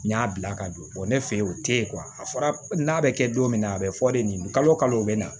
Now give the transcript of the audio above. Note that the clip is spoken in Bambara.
N y'a bila ka don ne fɛ yen o tɛ ye a fɔra n'a bɛ kɛ don min na a bɛ fɔ de nin kalo o bɛ na